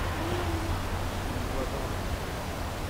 ибадан